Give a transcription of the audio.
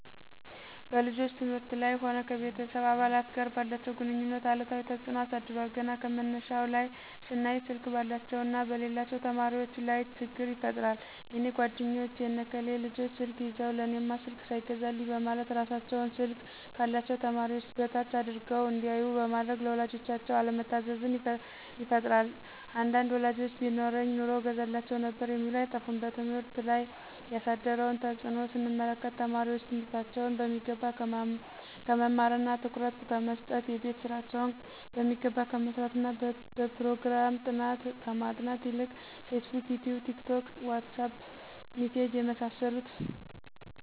በልጆች ትምህርት ላይም ሆነ ከቤተሰብ አባላት ጋር ባላቸው ግንኙነት አሉታዊ ተጽኖ አሳድሯል ገና ከመነሻው ላይ ስናይ ስልክ ባላቸውና በሌላቸው ተማሪወች ላይ ችግር ይፈጥራል የኔ ጓደኞች የነ ከሌ ልጆች ስልክ ይዘው ለእኔማ ስልክ ሳይገዛልኝ በማለት እራሳቸውን ስልክ ካላቸው ተማሪዎች በታች አድርገው እንዲያዮ በማድረግ ለወላጆቻቸው አለመታዘዝን ይፈጥራል አንዳንድ ወላጆችም ቢኖረኝ ኑሮ እገዛላቸው ነበር የሚሉ አይጠፉም። በትምህርት ላይ ያሳደረውን ተጽኖ ስንመለከት ተማሪወች ትምህርታቸውን በሚገባ ከመማርና ትኩረት ከመሰጠት :የቤት ስራቸውን በሚገባ ከመስራትና በጵሮግራም ጥናት ከማጥናት ይልቅ ፌስቡክ :ይቲዩብ :ቲክቶክ: ዋትሳጵ: ሚሴጅ የመሳሰሉት